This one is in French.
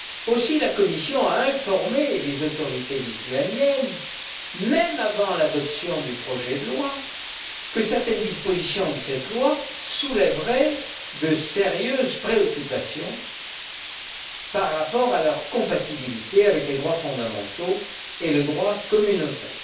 Aussi, la Commission a informé les autorités lituaniennes, même avant l'adoption du projet de loi, que certaines dispositions de cette loi soulèveraient de sérieuses préoccupations par rapport à leur compatibilité avec les droits fondamentaux et le droit communautaire.